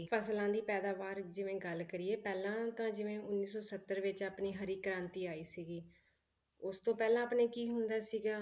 ਫਸਲਾਂ ਦੀ ਪੈਦਾਵਾਰ ਜਿਵੇਂ ਗੱਲ ਕਰੀਏ ਪਹਿਲਾਂ ਤਾਂ ਜਿਵੇਂ ਉੱਨੀ ਸੌ ਸੱਤਰ ਵਿੱਚ ਆਪਣੀ ਹਰੀ ਕ੍ਰਾਂਤੀ ਆਈ ਸੀਗੀ, ਉਸ ਤੋਂ ਪਹਿਲਾਂ ਆਪਣੇ ਕੀ ਹੁੰਦਾ ਸੀਗਾ